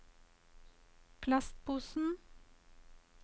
plastposen